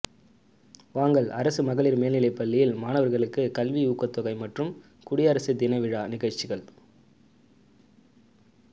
வாங்கல் அரசு மகளிா் மேல்நிலைப்பள்ளியில் மாணவிகளுக்கு கல்வி ஊக்கத்தொகை மற்றும் குடியரசு தின விழா நிகழ்ச்சிகள்